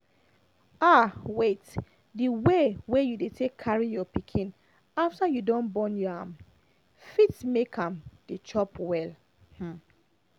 ah wait the way wey you take dey carry your pikin after you don born your am fit make am dey chop well um